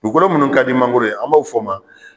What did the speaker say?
Dugukolo munnu ka di mangoro ye an b'a o fɔ ma